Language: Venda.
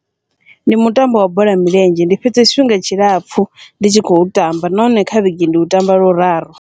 Ndi mutambo wa bola ya milenzhe ndi fhedze tshifhinga tshilapfhu ndi tshi khou tamba, nahone kha vhege ndi u tamba luraru.